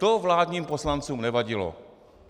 To vládním poslancům nevadilo.